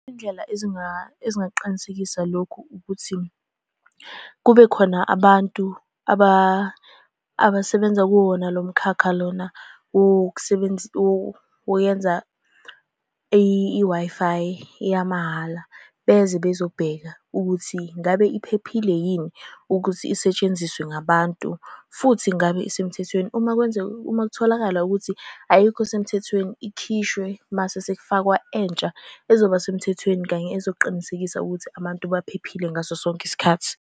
Izindlela ezingaqinisekisa lokhu ukuthi kube khona abantu abasebenza kuwona lomkhakha lona oyenza i-Wi-Fi yamahhala, beze bezobheka ukuthi ngabe iphephile yini ukuthi isetshenziswa ngabantu, futhi ngabe isemthethweni. Uma kwenzeka, uma kutholakala ukuthi ayikho semthethweni ikhishwe mase sekufakwa entsha ezoba semthethweni kanye ezoqinisekisa ukuthi abantu baphephile ngaso sonke isikhathi.